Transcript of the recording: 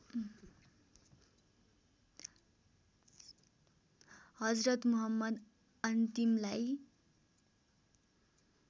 Hazrat Muhammad अन्तिमलाई